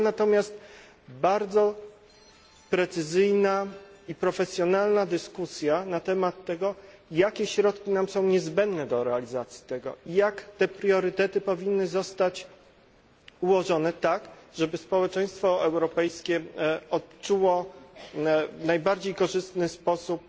Była natomiast bardzo precyzyjna i profesjonalna dyskusja na temat tego, jakie środki są nam niezbędne do realizacji priorytetów i jak te priorytety powinny zostać ułożone tak, żeby społeczeństwo europejskie odczuło w najbardziej korzystny sposób